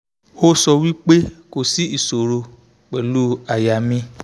o so wi pe ko si isoro pelu aya mi